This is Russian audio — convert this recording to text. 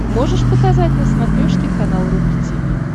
можешь показать на смотрешке канал рубль ти ви